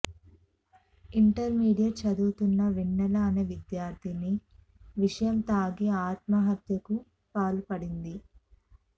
intermediate చదువుతున్న వెన్నెల అనే విద్యార్థిని విషం తాగి ఆత్మహత్యకు పాల్పడింది